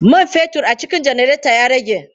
Man fetur a cikin janareta ya rage.